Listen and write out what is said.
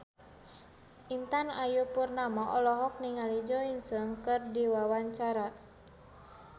Intan Ayu Purnama olohok ningali Jo In Sung keur diwawancara